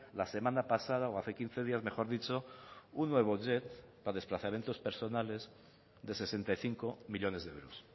la semana pasada o hace quince días mejor dicho un nuevo jet para desplazamientos personales de sesenta y cinco millónes de euros